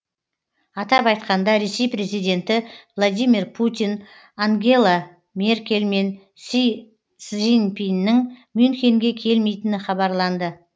атап айтқанда ресей президенті владимир путин ангела меркель мен си цзиньпиннің мюнхенге келмейтіні хабарланды